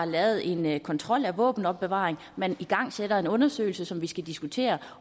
lavet en kontrol af våbenopbevaring og man igangsætter en undersøgelse som vi skal diskutere